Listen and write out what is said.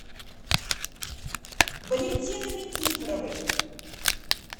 валентины никифоровой